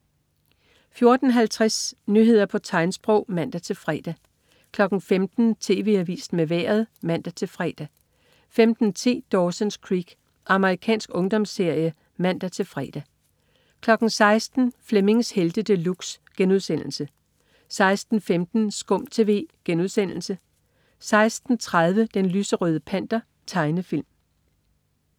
14.50 Nyheder på tegnsprog (man-fre) 15.00 TV Avisen med Vejret (man-fre) 15.10 Dawson's Creek. Amerikansk ungdomsserie (man-fre) 16.00 Flemmings Helte De Luxe* 16.15 SKUM TV* 16.30 Den lyserøde Panter. Tegnefilm